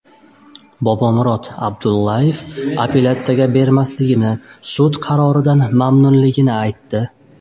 Bobomurod Abdullayev apellyatsiyaga bermasligini, sud qaroridan mamnunligini aytdi.